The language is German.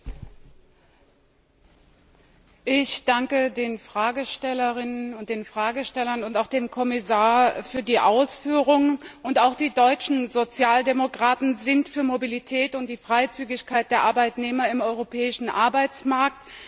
Frau Präsidentin! Ich danke den Fragestellerinnen und den Fragestellern und auch dem Kommissar für die Ausführungen. Auch die deutschen Sozialdemokraten sind für Mobilität und die Freizügigkeit der Arbeitnehmer im europäischen Arbeitsmarkt.